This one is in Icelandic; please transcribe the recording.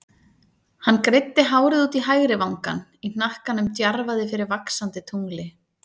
Hann greiddi hárið út í hægri vangann, í hnakkanum djarfaði fyrir vaxandi tungli.